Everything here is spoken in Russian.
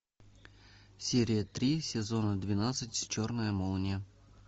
серия три сезона двенадцать черная молния